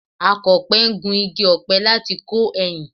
Akọ̀we ń gu igi ọ̀pẹ láti kọ ẹyìn